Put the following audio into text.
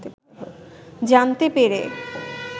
জানতে পেরে